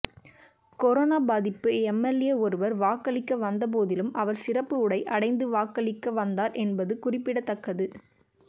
corona பாதிப்பு MLA ஒருவர் வாக்களிக்க வந்த போதிலும் அவர் சிறப்பு உடை அடைந்து வாக்களிக்க வந்தார் என்பது குறிப்பிடத்தக்கது